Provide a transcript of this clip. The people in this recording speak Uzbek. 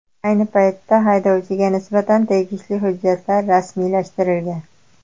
Ayni paytda haydovchiga nisbatan tegishli hujjatlar rasmiylashtirilgan.